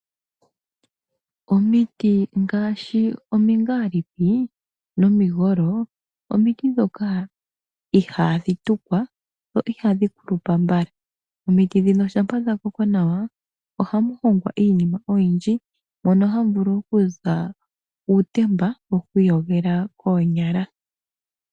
Omiti ngaashi omingaalipi nomigolo omiti ndhoka ihaadhi tukwa dho ihadhi kulupa mbala. Omiti ndhino shampa dha koko nawa ohamu hongwa iinima oyindji mono hamu vulu okuza uutemba yoku iyogela koonyala.